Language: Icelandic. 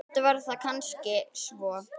Stundum var það kannski svo.